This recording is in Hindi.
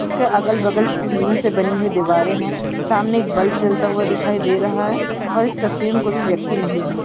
उसके अगल-बगल टीन से बनी हुई दीवारे हैं सामने एक बल्ब जलता हुआ दिखाई दे रहा है और इस तस्वीर में कोई भी व्यक्ति नहीं है।